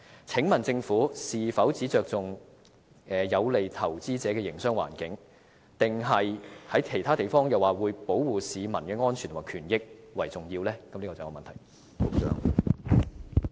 請問政府是否只注重有利投資者的營商環境，還是正如它在其他場合說，它亦會注重保護市民的安全及權益呢？